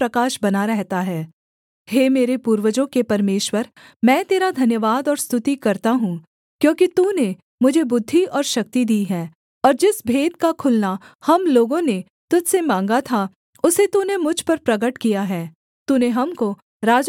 हे मेरे पूर्वजों के परमेश्वर मैं तेरा धन्यवाद और स्तुति करता हूँ क्योंकि तूने मुझे बुद्धि और शक्ति दी है और जिस भेद का खुलना हम लोगों ने तुझ से माँगा था उसे तूने मुझ पर प्रगट किया है तूने हमको राजा की बात बताई है